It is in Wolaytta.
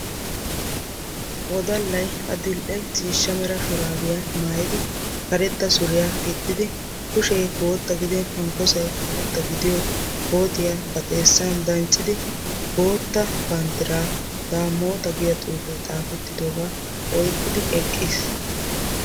Wodallay adl'ee ciishsha shurabbiya maayiddi koottiya dancciddi banddira oyqqiddi eqqiis.